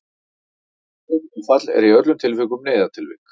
heilablóðfall er í öllum tilvikum neyðartilvik